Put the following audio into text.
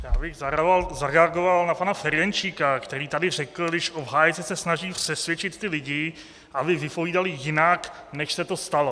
Já bych zareagoval na pana Ferjenčíka, který tady řekl, když obhájci se snaží přesvědčit ty lidi, aby vypovídali jinak, než se to stalo.